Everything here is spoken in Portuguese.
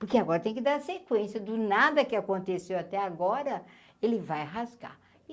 Porque agora tem que dar sequência do nada que aconteceu até agora, ele vai rasgar.